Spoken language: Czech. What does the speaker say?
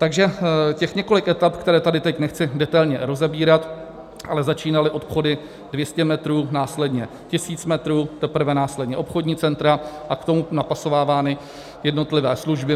Takže těch několik etap, které tady teď nechci detailně rozebírat, ale začínaly obchody 200 metrů, následně 1 000 metrů, teprve následně obchodní centra a k tomu napasovávány jednotlivé služby.